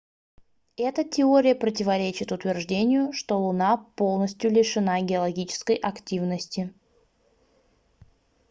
эта теория противоречит утверждению что луна полностью лишена геологической активности